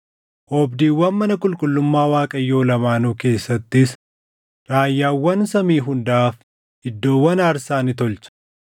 Oobdiiwwan mana qulqullummaa Waaqayyoo lamaanuu keessattis raayyaawwan samii hundaaf iddoowwan aarsaa ni tolche.